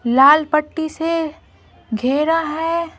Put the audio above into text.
लाल पट्टी से घेरा है।